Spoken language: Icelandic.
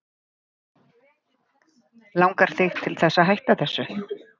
Langar þig til þess að hætta þessu?